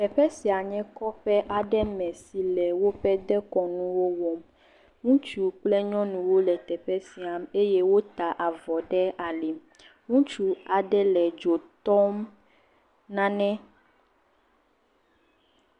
Teƒe sia nye kɔƒe aɖe me si le woƒe dekɔnuwo wɔm, ŋutsu kple nyɔnuwo le teƒe sia eye wota avɔ ɖe ali me, ŋutsu aɖe le dzo tɔm nane.